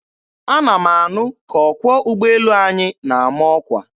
Ana m anụ ka ọkwọ ugboelu anyị na-ama ọkwa.